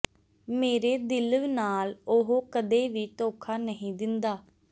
ਮੇਰੇ ਦਿਲ ਨਾਲ ਉਹ ਕਦੇ ਵੀ ਧੋਖਾ ਨਹੀਂ ਦਿੰਦਾ